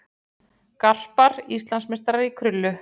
Garpar Íslandsmeistarar í krullu